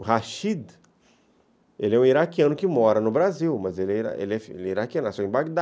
O Rashid, ele é um iraquiano que mora no Brasil, mas ele é iraquiano, nasceu em Bagdá.